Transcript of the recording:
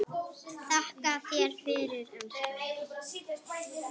Þakka þér fyrir, elskan.